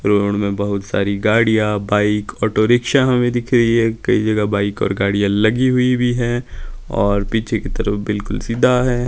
Road में बहुत सारी गाड़ियां बाइक ऑटो रिक्शा हमें दिख रही है कई जगह बाइक और गाड़ियां लगी हुई भी हैं और पीछे की तरफ बिल्कुल सीधा हैं।